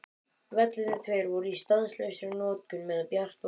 Vellirnir tveir voru í stanslausri notkun meðan bjart var.